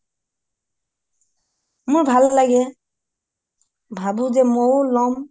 মোৰ ভাল লাগে ভাবোঁ যে মইও লম হয়